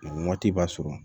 nin waati b'a sɔrɔ